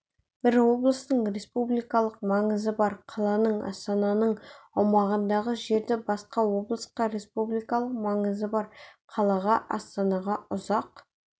бір облыстың республикалық маңызы қаланың астананың аумағындағы жерді басқа облысқа республикалық маңызы қалаға астанаға ұзақ